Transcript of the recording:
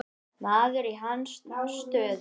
Maður í hans stöðu.